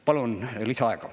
Palun lisaaega.